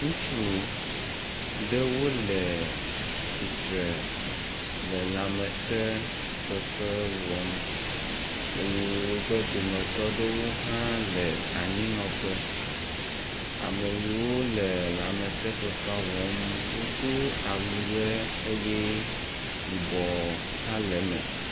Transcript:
Ŋutsu aɖewo le tsitre le lãmesefefe wɔm eye wobe dometɔ aɖewo hã le anyinɔƒe. Ame yiwo le lãmesefefea wɔm wodo awu ʋe eye yibɔ hã le eme.